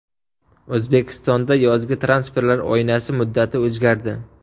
O‘zbekistonda yozgi transferlar oynasi muddati o‘zgardi.